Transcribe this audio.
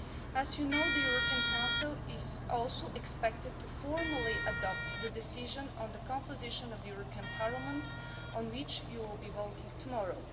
As you know, the European Council is also expected formally to adopt the decision on the composition of the European Parliament, on which you will be voting tomorrow.